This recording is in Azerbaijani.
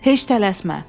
Heç tələsmə.